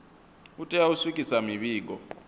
u tea u swikisa mivhigo